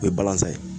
O ye balansa ye